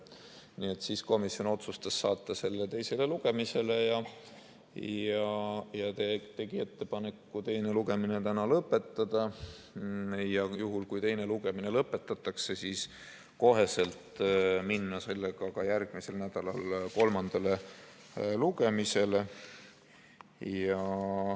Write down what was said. Nii et komisjon otsustas saata eelnõu teisele lugemisele ja tegi ettepaneku teine lugemine täna lõpetada ning juhul, kui teine lugemine lõpetatakse, kohe minna ka järgmisel nädalal kolmandale lugemisele.